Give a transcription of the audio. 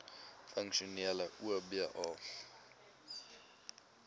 funksionele oba